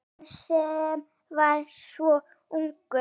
Hann sem var svo ungur.